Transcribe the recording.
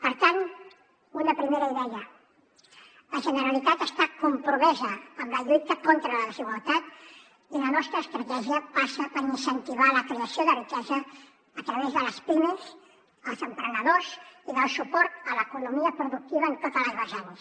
per tant una primera idea la generalitat està compromesa amb la lluita contra la desigualtat i la nostra estratègia passa per incentivar la creació de riquesa a través de les pimes els emprenedors i del suport a l’economia productiva en totes les vessants